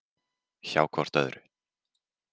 Hjá hvort öðru.